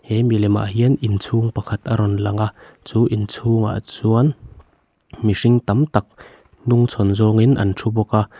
he milemah hian in chhung pakhat a rawn lang a chu inchhungah chuan mihring tam tak hnungchhawn zawngin an thu bawk a.